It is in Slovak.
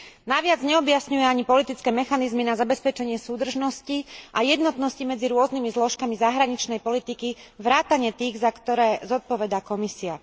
Navyše neobjasňuje ani politické mechanizmy na zabezpečenie súdržnosti a jednotnosti medzi rôznymi zložkami zahraničnej politiky vrátane tých, za ktoré zodpovedá Komisia.